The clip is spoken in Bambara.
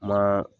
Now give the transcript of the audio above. Ma